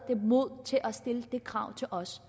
mod til at stille det krav til os